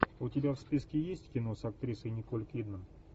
у тебя в списке есть кино с актрисой николь кидман